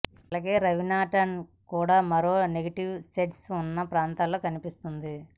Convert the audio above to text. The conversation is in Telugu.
అలాగే రవీనాటాండన్ కూడా మరో నెగిటివ్ షేడ్స్ ఉన్న పాత్రలో కనిపిస్తుంది